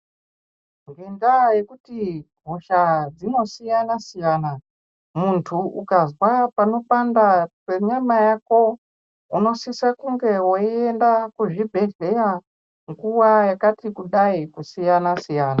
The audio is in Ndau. Ngendaa yekuti hosha dzinosiyana-siyana, muntu ukazwa panopanda penyama yako, unosisa kunge weienda kuzvibhedhlera nguva yakati kudai kusiyana siyana.